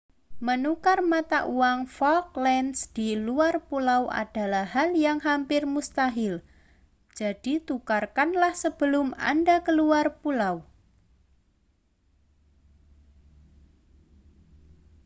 menukar mata uang falklands di luar pulau adalah hal yang hampir mustahil jadi tukarkanlah sebelum anda keluar pulau